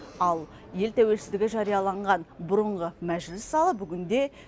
ал ел тәуелсіздігі жарияланған бұрынғы мәжіліс залы бүгінде